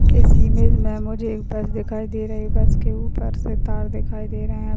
इस इमेज मे मुझे एक बस दिखाई दे रही है बस के ऊपर से तार दिखाई दे रहे है।